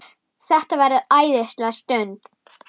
Þetta verður æðisleg stund.